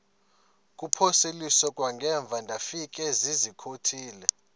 kuphosiliso kwangaemva ndafikezizikotile